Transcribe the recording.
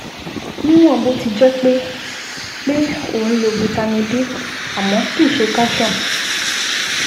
Níwọ̀n bó ti jẹ́ pé pé o ń lo Vitamin D àmọ́ kìí ṣe Calcium